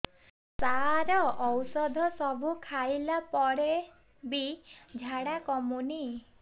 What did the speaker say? ସାର ଔଷଧ ସବୁ ଖାଇଲା ପରେ ବି ଝାଡା କମୁନି